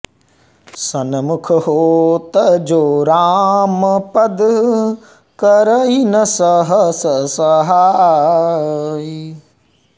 सनमुख होत जो रामपद करइ न सहस सहाइ